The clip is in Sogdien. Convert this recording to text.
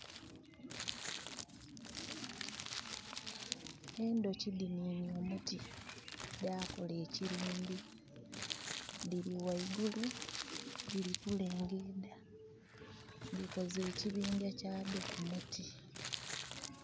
Endooki dininye omuti da kola ekirindi. Diri waigulu diri kulengeda. Dikoze ekibinja kyaddo ku muti